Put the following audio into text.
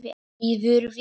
Líður vel.